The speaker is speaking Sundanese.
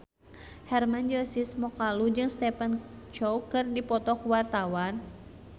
Hermann Josis Mokalu jeung Stephen Chow keur dipoto ku wartawan